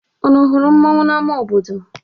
Unu hụrụ mmọnwụ n'ama obodo?